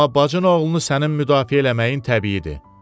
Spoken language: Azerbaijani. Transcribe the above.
Amma bacın oğlunu sənin müdafiə eləməyin təbiidir.